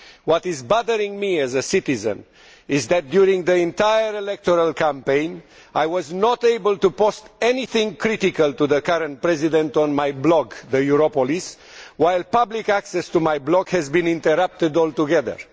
What bothers me as a citizen is that, during the entire electoral campaign, I was not able to post anything critical of the current president on my blog, the Europolis, while public access to my blog was interrupted altogether.